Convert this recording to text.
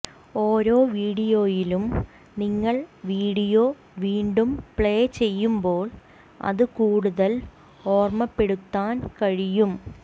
ഓരോ വീഡിയോയിലും നിങ്ങൾ വീഡിയോ വീണ്ടും പ്ലേ ചെയ്യുമ്പോൾ അത് കൂടുതൽ ഓർമപ്പെടുത്താൻ കഴിയും